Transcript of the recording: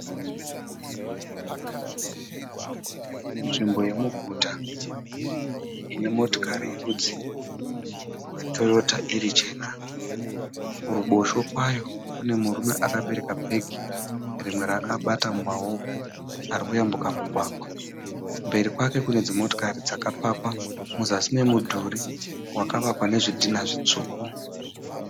Nzvimbo yemuguta ine motokari yerudzi rwe Toyota iri chena. Kuruboshwe kwayo kune murume ari kuyambuka mugwagwa akabata bheke rimwe akabata, kumberi kwake kune mota dzakapakwa, muzasi memudhuri wakavakwa nezvidhinha zvitsvuku.